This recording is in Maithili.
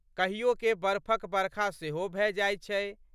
कहियोके बरफक बरखा सेहो भए जाइत छै।